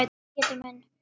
Pétur minn.